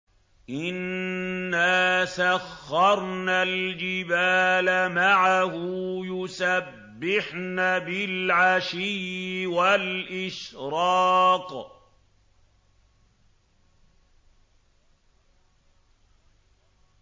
إِنَّا سَخَّرْنَا الْجِبَالَ مَعَهُ يُسَبِّحْنَ بِالْعَشِيِّ وَالْإِشْرَاقِ